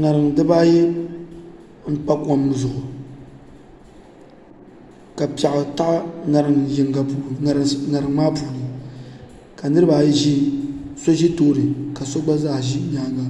ŋarim dibaayi n pa kom zuɣu ka piɛɣu tahi ŋarim yinga puuni ka so ʒi tooni ka so gba zaa ʒi nyaanga